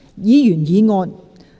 議員議案。